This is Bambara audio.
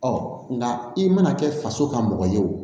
Ɔ nka i mana kɛ faso ka mɔgɔ ye o